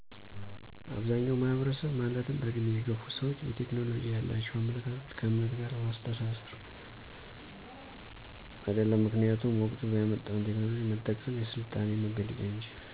አብዛኛዉ ማህበረሰብ ማለትም በዕድሜ የገፉ ሰዎች የቴክኖሎጂ ያላቸዉ አመለካከት ከዕምነት ጋር ማስተሳሰር። አይደለም ምክኒያቱም ወቅቱ ያመጣዉን ቴክኖሎጂ መጠቀም የስልጣኔ መገለጫ እንጂ